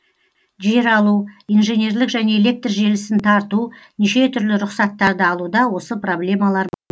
жер алу инженерлік және электр желісін тарту неше түрлі рұқсаттарды алуда осы проблемалар бар